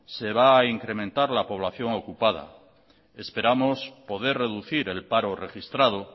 se va a incrementar la población ocupada esperamos poder reducir el paro registrado